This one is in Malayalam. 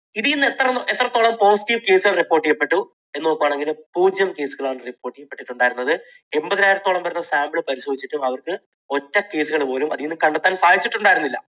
ഇതിൽ നിന്ന് എത്രത്തോളം positive case കൾ report ചെയ്യപ്പെട്ടു എന്ന് നോക്കുകയാണെങ്കിൽ പൂജ്യം case കളാണ് report ചെയ്യപ്പെട്ടിട്ടുണ്ടായിരുന്നത്. എൺപതിനായിരത്തോളം വരുന്ന sample പരിശോധിച്ചിട്ടും അവർക്ക് ഒറ്റ case കൾ പോലും അതിൽ നിന്ന് കണ്ടെത്താൻ സാധിച്ചിട്ടുണ്ടായിരുന്നില്ല.